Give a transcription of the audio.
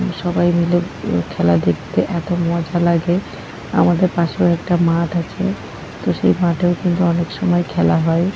সবাই মিলে ও খেলা দেখতে এত মজা লাগে। আমাদের পাশেও একটা মাঠ আছে তো সেই মাঠেও কিন্তু অনেক সময় খেলা হয়।